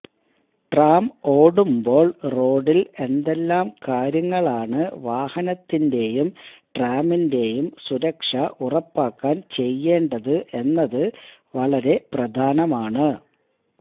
tram ഓടുമ്പോള് റോഡില് എന്തെല്ലാം കാര്യങ്ങളാണ് വാഹനത്തിന്റെയും ട്രാമിന്റെയും സുരക്ഷ ഉറപ്പാക്കാന് ചെയ്യേണ്ടത് എന്നത് വളരെ പ്രധാനമാണ്